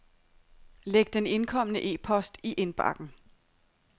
Læg den indkomne e-post i indbakken.